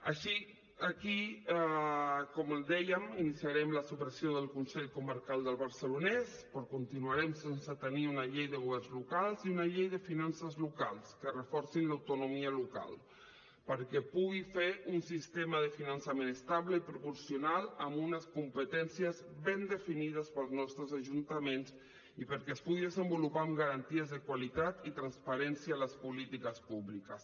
així aquí com els dèiem iniciarem la supressió del consell comarcal del barcelonès però continuarem sense tenir una llei de governs locals i una llei de finances locals que reforcin l’autonomia local perquè pugui fer un sistema de finançament estable i proporcional amb unes competències ben definides pels nostres ajuntaments i perquè es pugui desenvolupar amb garanties de qualitat i transparència en les polítiques públiques